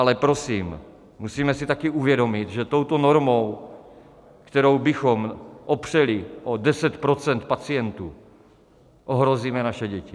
Ale, prosím, musíme si taky uvědomit, že touto normou, kterou bychom opřeli o 10 % pacientů, ohrozíme naše děti.